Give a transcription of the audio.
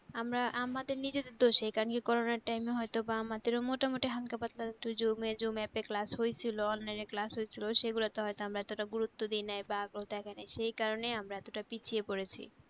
আমরা আমাদের নিজেদের দোষেই কারণ কি corona র time এ হয়তো বা আমাদের ও মোটামুটি হাল্কা ফালকা তো যুম app এ class হয়েছিল onlineclass হয়েছিল সেগুলো হয়তো আমরা অত গুরুত্ব দিই নাই বা আগ্রহ দেখায়নাই সেকারণেই আমরা এতটা পিছিয়ে পড়েছি।